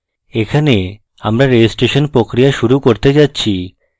এখানে আমরা registration প্রক্রিয়া শুরু করতে যাচ্ছি